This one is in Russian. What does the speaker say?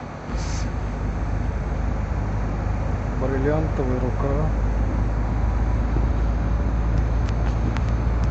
бриллиантовая рука